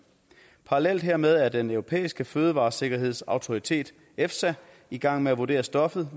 parallelt hermed er den europæiske fødevaresikkerhedsautoritet efsa i gang med at vurdere stoffet